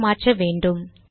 என மாற்ற வேன்டும்